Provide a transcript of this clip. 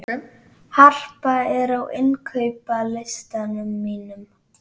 Harpa, hvað er á innkaupalistanum mínum?